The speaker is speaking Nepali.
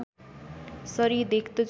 सरी देख्दछु